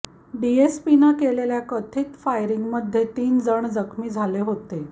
डीएसपीनं केलेल्या कथित फायरिंगमध्ये तीन जण जखमी झाले होते